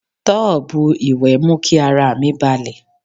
Tọ́ọ̀bù ìwẹ̀ mú kí ara mi balẹ̀.